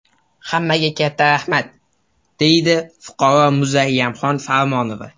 Hammaga katta rahmat”, – deydi fuqaro Muzayamxon Farmonova.